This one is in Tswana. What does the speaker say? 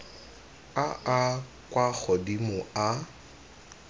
a a kwa godimo a